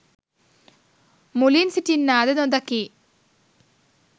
මුලින් සිටින්නා ද නොදකියි